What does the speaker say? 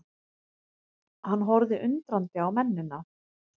Hann horfði undrandi á mennina.